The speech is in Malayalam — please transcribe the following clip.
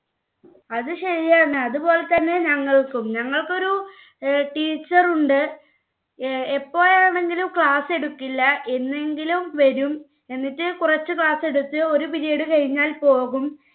അതെ ശരിയാണ്. അതുപോലെതന്നെ ഞങ്ങൾക്കും. ഞങ്ങൾക്ക് ഒരു teacher ഉണ്ട്. എപ്പോഴാണെങ്കിലും class എടുക്കില്ല. എന്നെങ്കിലും വരും എന്നിട്ട് കുറച്ചു class എടുത്തു ഒരു period കഴിഞ്ഞാൽ പോകും.